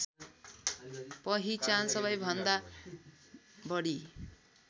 पहिचान सबैभन्दा बढी